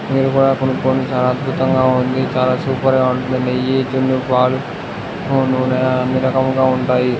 చాలా అద్భుతంగా ఉంది. చాలా సూపర్ గా ఉంది. నెయ్యి జున్ను పాలు అన్ని రకములుగా ఉంటాయి.